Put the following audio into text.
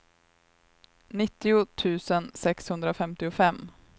nittio tusen sexhundrafemtiofem